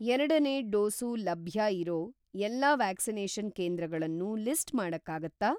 ಎರಡನೇ ಡೋಸು ಲಭ್ಯ ಇರೋ ಎಲ್ಲಾ ವ್ಯಾಕ್ಸಿನೇಷನ್‌ ಕೇಂದ್ರಗಳನ್ನೂ ಲಿಸ್ಟ್‌ ಮಾಡಕ್ಕಾಗತ್ತಾ?